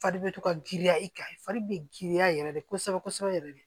Fari bɛ to ka girinya i kan fari bɛ girinya yɛrɛ de kosɛbɛ kosɛbɛ yɛrɛ de